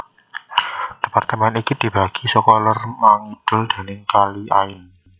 Departemen iki dibagi saka lor mangidul déning Kali Ain